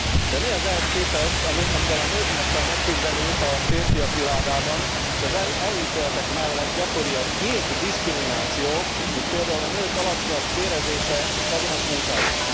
De mi az ehhez képest, amivel a nőknek kell megküzdeniük a férfiak világában, és az előítéletek mellett gyakori a nyílt diszkrimináció, mint például a nők alacsonyabb bérezése azonos munkáért.